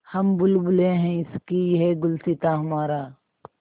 हम बुलबुलें हैं इसकी यह गुलसिताँ हमारा